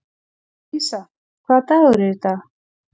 Lísa, hvaða dagur er í dag?